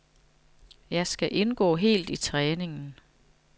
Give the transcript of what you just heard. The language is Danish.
Jeg skal indgå helt i træningen.